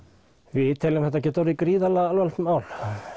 við teljum að þetta geti orðið gríðarlega alvarlegt mál